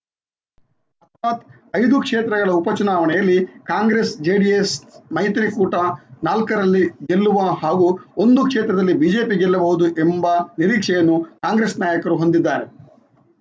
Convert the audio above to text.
ಅರ್ಥಾತ್‌ ಐದು ಕ್ಷೇತ್ರಗಳ ಉಪ ಚುನಾವಣೆಯಲ್ಲಿ ಕಾಂಗ್ರೆಸ್‌ಜೆಡಿಎಸ್‌ ಮೈತ್ರಿ ಕೂಟ ನಾಲ್ಕರಲ್ಲಿ ಗೆಲ್ಲುವ ಹಾಗೂ ಒಂದು ಕ್ಷೇತ್ರದಲ್ಲಿ ಬಿಜೆಪಿ ಗೆಲ್ಲಬಹುದು ಎಂಬ ನಿರೀಕ್ಷೆಯನ್ನು ಕಾಂಗ್ರೆಸ್‌ ನಾಯಕರು ಹೊಂದಿದ್ದಾರೆ